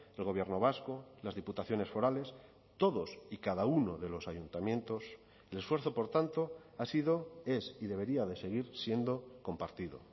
el gobierno vasco las diputaciones forales todos y cada uno de los ayuntamientos el esfuerzo por tanto ha sido es y debería de seguir siendo compartido